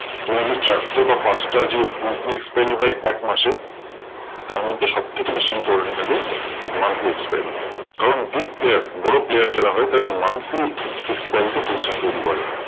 Generally চারটে বা পাঁচটা যে weekly expiry হয় এক মাসে, তারমধ্যে সবথেকে বেশি important থাকে monthly expiry কারণ big player বড় player যারা হয় তারা monthly expiry তে position তৈরী করে।